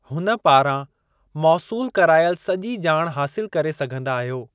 हुन पारां मौसूलु करायलु सॼी ॼाणु हासिलु करे सघिंदा आहियो।